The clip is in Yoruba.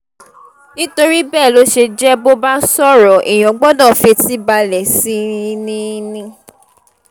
nítorí bẹ́ẹ̀ ló ṣe jẹ́ bó bá sọ̀rọ̀ èèyàn gbọ́dọ̀ fetí balẹ̀ sí i ni i ni